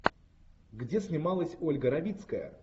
где снималась ольга равицкая